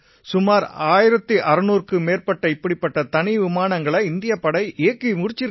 சுமார் 1600க்கும் மேற்பட்ட இப்படிப்பட்ட தனி விமானங்களை இந்திய விமானப்படை இயக்கி முடிச்சிருக்கு